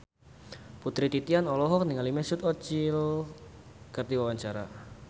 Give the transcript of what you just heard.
Putri Titian olohok ningali Mesut Ozil keur diwawancara